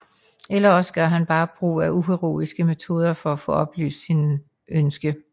Eller også gør han bare brug af uheroiske metoder for at få opfyldt sit ønske